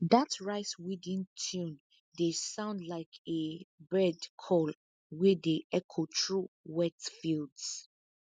dat riceweeding tune dey sound like a bird call wey dey echo through wet fields